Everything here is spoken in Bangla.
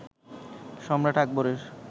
সম্রাট আকবরের